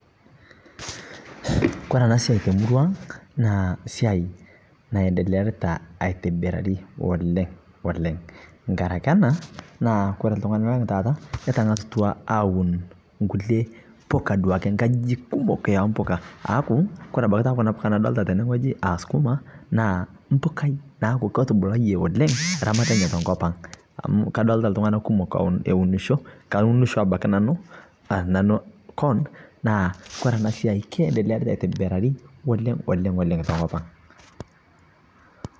Kore anaa siai temurua ang' naa siai naendelearitaa aitibirarii oleng' oleng' ngarakee anaa naa kore ltung'anaa lang' taata ketang'asutua awun nkulie pukaa nkajijik kumoo empukaa aaku kore abakii taa kunaa pukaa nadolitaa tenee ng'ojii aa sukumaa naa mpukai naaku ketubulayie oleng' ramat enyee tenkopang' amu kadolitaa ltung'ana kumoo eunishoo kaunishoo abakii nanuu aa nanuu koon naa kore anaa siai keedelearitaa aitibirarii oleng' oleng' tenkopang'.